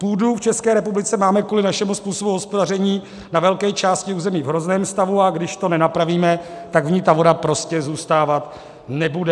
Půdu v České republice máme kvůli našemu způsobu hospodaření na velké části území v hrozném stavu, a když to nenapravíme, tak v ní ta voda prostě zůstávat nebude.